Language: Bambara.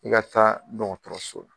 N ka taa dɔn dɔgɔtɔrɔso la.